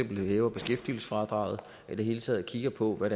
hæver beskæftigelsesfradraget og i det hele taget kigger på hvad